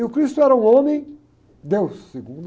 E o cristo era um homem, deus, segundo...